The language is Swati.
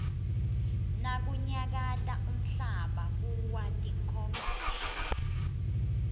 nakunyakata umhlaba kuwa tinkomishi